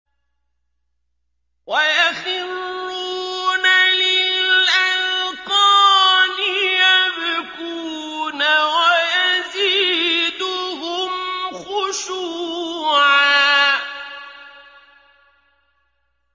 وَيَخِرُّونَ لِلْأَذْقَانِ يَبْكُونَ وَيَزِيدُهُمْ خُشُوعًا ۩